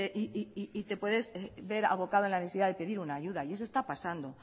y te puedes ver abocado en la necesidad de pedir una ayuda y eso está pasando